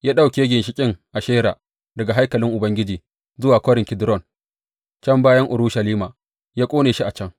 Ya ɗauke ginshiƙin Ashera daga haikalin Ubangiji zuwa Kwarin Kidron can bayan Urushalima, ya ƙone shi a can.